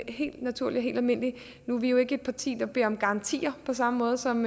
helt naturligt og helt almindeligt nu er vi jo ikke et parti der beder om garantier på samme måde som